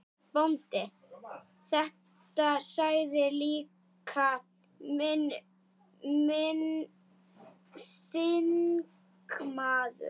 BÓNDI: Þetta sagði líka minn þingmaður